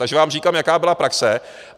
Takže vám říkám, jaká byla praxe.